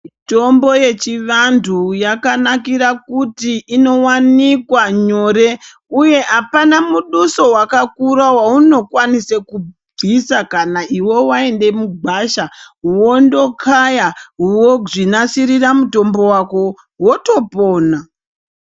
Mitombo uechivantu yakanakira kuti inowanikwa nyore uye apana muduso wakakura waunokwanise kubvise kana iwe waende mugwasha wondokaya wozvinasirira mutombo wako wotopona.